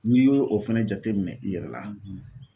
N'i y'o o fɛnɛ jateminɛ i yɛrɛ la